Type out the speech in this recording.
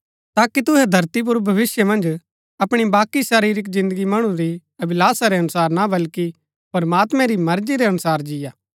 ताकि तुहै धरती पुर भविष्‍य मन्ज अपणी बाकी शरीरिक जिन्दगी मणु री अभिलाषा रै अनुसार ना वल्कि प्रमात्मैं री मर्जी रै अनुसार जिंआ